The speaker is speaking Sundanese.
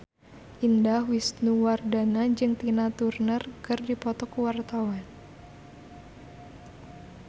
Indah Wisnuwardana jeung Tina Turner keur dipoto ku wartawan